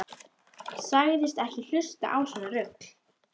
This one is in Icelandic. Sagðist ekki hlusta á svona rugl.